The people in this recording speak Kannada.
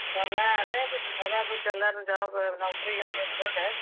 ಹೊಲ ಅದ್ ರೀ ಹೊಲಾ ಬಿಟ್ಟ ಎಲ್ಲಾರೂ job ನೌಕರಿಗೆ ಸೇರಕೊಂಡ್.